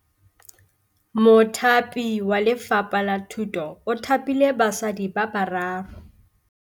Mothapi wa Lefapha la Thutô o thapile basadi ba ba raro.